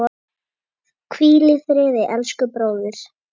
Hvíl friði elsku bróðir.